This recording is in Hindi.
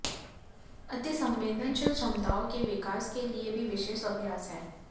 अतिसंवेदनशील क्षमताओं के विकास के लिए भी विशेष अभ्यास हैं